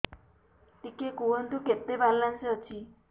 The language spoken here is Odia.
ଟିକେ କୁହନ୍ତୁ କେତେ ବାଲାନ୍ସ ଅଛି